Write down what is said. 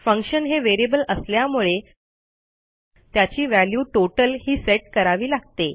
function हे variable असल्यामुळे त्याची व्हॅल्यू टोटल ही सेट करावी लागते